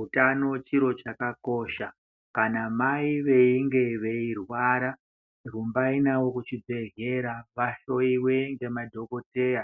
Utano chiro chakakosha. Kana mai veinge veirwara rumbai navo kuchibhehlera vahlowiwe ngemadhokodheya